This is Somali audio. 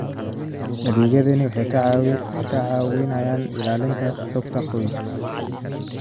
Adeegyadani waxay ka caawiyaan ilaalinta xogta qoyska.